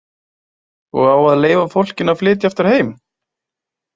Og á að leyfa fólkinu að flytja aftur heim?